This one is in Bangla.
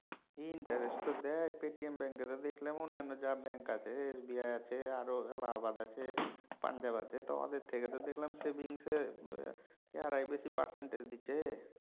interest তো দেয় পেটিএম ব্যাঙ্কে তো দেখলাম অনেক মানে যা ব্যাঙ্ক আছে SBI আছে আরও এলাহাবাদ আছে পাঞ্জাব আছে তাদের থেকে তো দেখলাম savings এ এয়ারাই বেশি percentage দিচ্ছে।